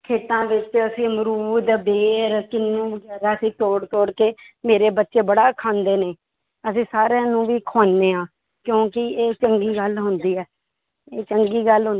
ਖੇਤਾਂ ਵਿੱਚ ਅਸੀਂ ਅਮਰੂਦ, ਬੇਰ, ਕਿਨੂੰ ਅਸੀਂ ਤੋੜ ਤੋੜ ਕੇ ਮੇਰੇ ਬੱਚੇ ਬੜਾ ਖਾਂਦੇ ਨੇ, ਅਸੀਂ ਸਾਰਿਆਂ ਨੂੰ ਵੀ ਖਵਾਉਂਦੇ ਹਾਂ ਕਿਉਂਕਿ ਇਹ ਚੰਗੀ ਗੱਲ ਹੁੰਦੀ ਹੈ ਇਹ ਚੰਗੀ ਗੱਲ